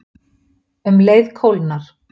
Um leið kólnar